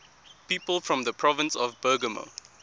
people from the province of bergamo